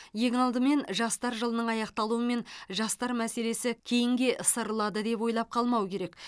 ең алдымен жастар жылының аяқталуымен жастар мәселесі кейінге ысырылады деп ойлап қалмау керек